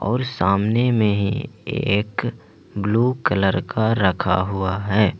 और सामने में एक ब्लू कलर का रखा हुआ है।